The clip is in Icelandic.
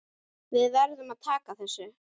Við verðum að taka þessu.